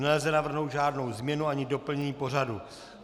Nelze navrhnout žádnou změnu ani doplnění pořadu.